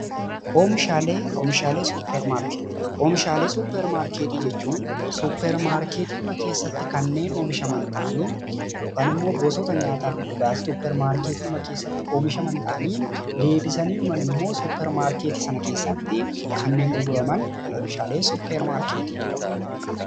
Oomishaalee suupar maarkeettii jechuun suuppar maarkeetiidhuma keessatti kanneen oomishaman ta'anii, yookaan gosoota nyaataaf dhugaatii suppar maarkeettii keessatti oomishaman ta'anii, deebisanidhuma ammoo suuppar maarkeettii sana keessatti kanneen gurguraman oomishaalee suuppar maarkeettii jedhamu.